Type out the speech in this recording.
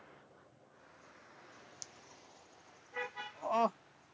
উহ